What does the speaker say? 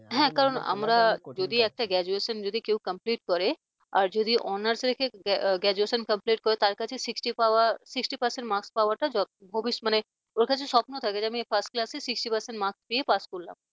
হ্যাঁ কারণ আমরা যদি একটা graduation যদি কেউ complete করে আর যদি honours রেখে graduation complete করে তার sixty পাওয়া sixty percent marks পাওয়া টা যথেষ্ট মানে ওর কাছে স্বপ্ন থাকে যে আমি first class sixty percent marks পেয়ে পাশ করলাম।